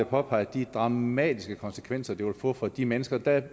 påpege de dramatiske konsekvenser det vil få for de mennesker der er